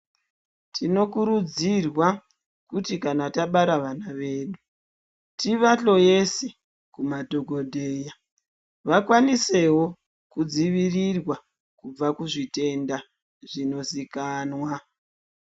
Tinokurudzirwa kuti kana tabara vana vedu tivahloyese kumadhokodheya vakwanisewo kudzivirirwa kubva kuzvitenda zvinozikanwa.